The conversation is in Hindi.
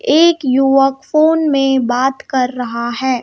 एक युवक फोन में बात कर रहा है.